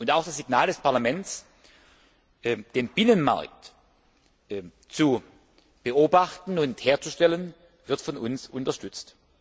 Auch das Signal des Parlaments, den Binnenmarkt zu beobachten und herzustellen, wird von uns unterstützt.